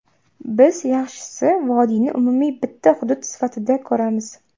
Biz yaxshisi vodiyni umumiy bitta hudud sifatida ko‘ramiz.